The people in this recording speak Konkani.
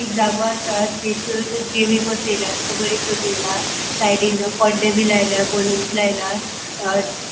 एक जागो आसा तेतुर देवी बसेल्या तिका बरी सजेयला साइडीन पड़दे बी लायला बलून्स लायला